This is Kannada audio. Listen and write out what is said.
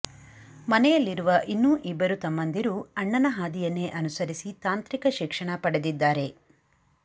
ಮನೆಯಲ್ಲಿರುವ ಇನ್ನೂ ಇಬ್ಬರು ತಮ್ಮಂದಿರು ಅಣ್ಣನ ಹಾದಿಯನ್ನೇ ಅನುಸರಿಸಿ ತಾಂತ್ರಿಕ ಶಿಕ್ಷಣ ಪಡೆದಿದ್ದಾರೆ